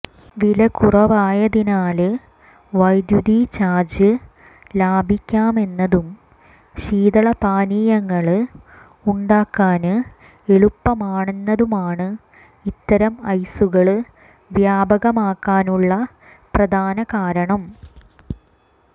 വില കുറവായതിനാല് വൈദ്യുതി ചാര്ജ് ലാഭിക്കാമെന്നതും ശീതളപാനീയങ്ങള് ഉണ്ടാക്കാന് എളുപ്പമാണെന്നതുമാണു ഇത്തരം ഐസുകള് വ്യാപകമാകാനുള്ള പ്രധാന കാരണം